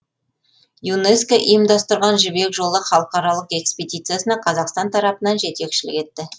юнеско ұйымдастырған жібек жолы халықаралық экспедициясына қазақстан тарапынан жетекшілік етті